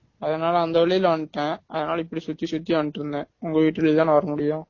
அதுனால அந்த வழில வன்ட்டேன் அதுனால இப்படி சுத்தி சுத்தி வன்ட்டு இருந்தேன் உங்க வீட்டு வழியா தான வர முடியும்